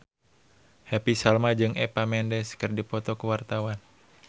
Happy Salma jeung Eva Mendes keur dipoto ku wartawan